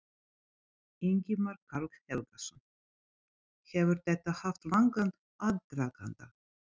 Ingimar Karl Helgason: Hefur þetta haft langan aðdraganda?